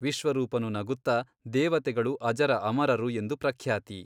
ವಿಶ್ವರೂಪನು ನಗುತ್ತ ದೇವತೆಗಳು ಅಜರ ಅಮರರು ಎಂದು ಪ್ರಖ್ಯಾತಿ.